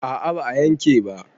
a a ba a yanke ba.